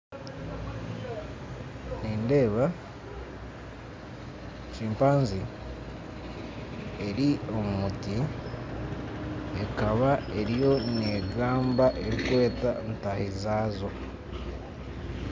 Nindeeba kimpanzi eri omu muti ekaba eriyo negamba erikweta ntaahi zaazo.